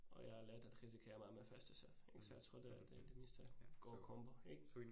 Og jeg har lært at risikere meget med førsteserv ik, så jeg tror det det meste god combo ik